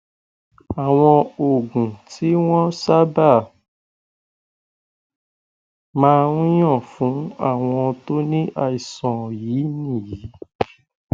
àwọn oògùn tí wọn sábà máa ń yàn fún àwọn tó ní àìsàn yìí nìyí